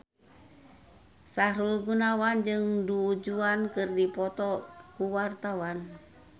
Sahrul Gunawan jeung Du Juan keur dipoto ku wartawan